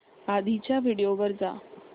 आधीच्या व्हिडिओ वर जा